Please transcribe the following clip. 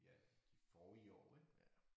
Ja de forrige år ik